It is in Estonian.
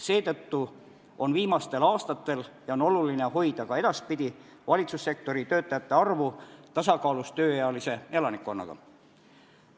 Seetõttu on viimastel aastatel ja ka edaspidi oluline hoida valitsussektori töötajate arv tasakaalus tööealise elanikkonna arvuga.